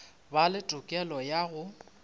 ba le tokelo ya go